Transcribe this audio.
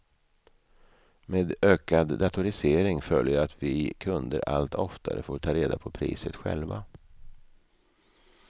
Med ökad datorisering följer att vi kunder allt oftare får ta reda på priset själva.